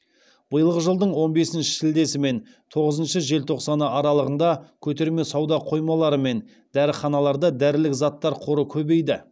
биылғы жылдың он бесінші шілдесі мен тоғызыншы желтоқсаны аралығында көтерме сауда қоймалары мен дәріханаларда дәрілік заттар қоры көбейді